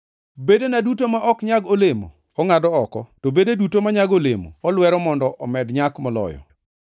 Bedena duto ma ok nyag olemo ongʼado oko, to bede duto manyago olemo olwero mondo omed nyak moloyo.